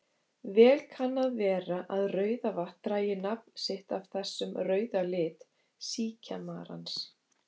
Vel kann að vera að Rauðavatn dragi nafn sitt af þessum rauða lit síkjamarans.